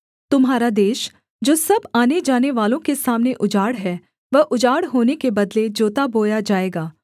तुम्हारा देश जो सब आने जानेवालों के सामने उजाड़ है वह उजाड़ होने के बदले जोता बोया जाएगा